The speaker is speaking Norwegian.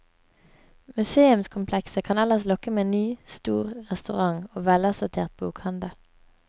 Museumskomplekset kan ellers lokke med ny, stor restaurant og velassortert bokhandel.